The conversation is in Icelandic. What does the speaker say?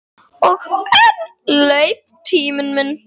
Og enn leið tíminn.